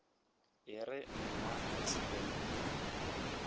e re nna le sponono